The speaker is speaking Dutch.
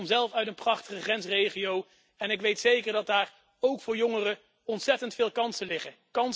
Ik kom zelf uit een prachtige grensregio en ik weet zeker dat daar ook voor jongeren ontzettend veel kansen liggen